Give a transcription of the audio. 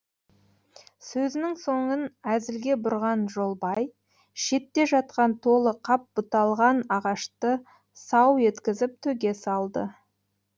сөзінің соңын әзілге бұрған жолбай шетте жатқан толы қап бұталған ағашты сау еткізіп төге салды